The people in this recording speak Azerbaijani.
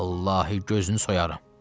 Vallahi gözünü soyaram.